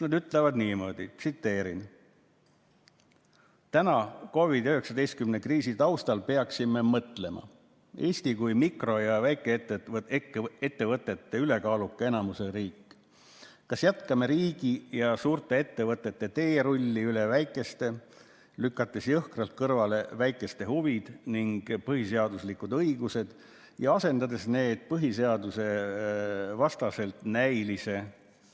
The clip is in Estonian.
Nad ütlevad niimoodi: "Täna, COVID‑19 kriisi taustal on see hetk, kus peaksime mõtlema – Eesti kui mikro- ja väikeettevõtete ülekaaluka enamusega riik – kas jätkame riigi ja suurte ettevõtete teerulli üle väikeste, lükates jõhkralt kõrvale väikeste huvid ning põhiseaduslikud õigused ja asendades need põhiseadusvastaselt näilise